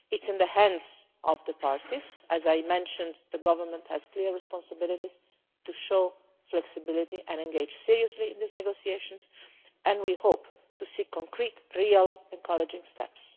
It is in the hands of the parties. As I mentioned, the Government has a clear responsibility to show flexibility and to engage seriously in these negotiations, and we hope to see real, concrete, encouraging steps.